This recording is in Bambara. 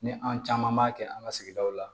Ni an caman b'a kɛ an ka sigidaw la